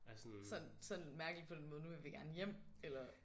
Sådan sådan mærkeligt på den måde nu vil vi gerne hjem eller?